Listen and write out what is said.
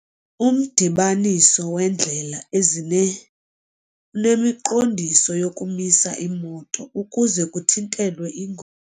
Umdibaniso weendlela ezine unemiqondiso yokumisa iimoto ukuze kuthintelwe iingo.